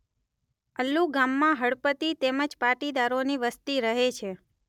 અલ્લુ ગામમાં હળપતિ તેમજ પાટીદારોની વસ્તી રહે છે.